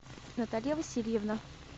наталья васильевна